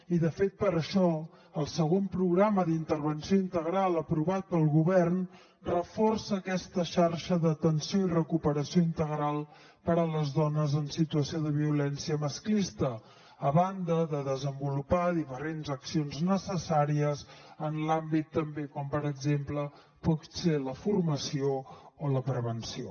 i de fet per això el segon programa d’intervenció integral aprovat pel govern reforça aquesta xarxa d’atenció i recuperació integral per a les dones en situació de violència masclista a banda de desenvolupar diferents accions necessàries en l’àmbit també com per exemple pot ser la formació o la prevenció